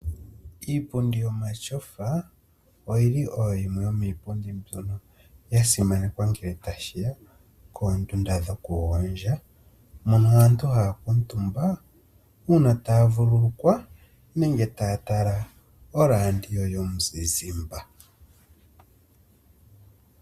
Iipundi yo matyofa, oyili oyo yimwe yomiipundi mbyono ya simanekwa ngele tashiya koondunda dho kugondja, mono aantu haya kuutumba, uuna taya vululukwa, nenge taya tala oraandio yomuzizimba.